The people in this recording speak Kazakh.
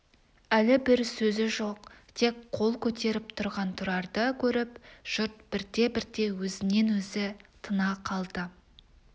әлі бір сөзі жоқ тек қол көтеріп тұрған тұрарды көріп жұрт бірте-бірте өзінен-өзі тына қалды